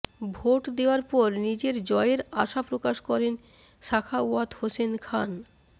vote দেওয়ার পর নিজের জয়ের আশা প্রকাশ করেন সাখাওয়াত হোসেন খান